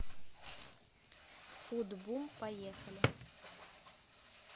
фуд бум поехали